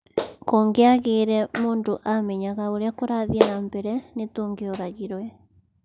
kũngiagiire mũndũ amenyaga ũrĩa kũrathii na mbere nĩtũngioragirwe